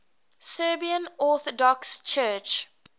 serbian orthodox church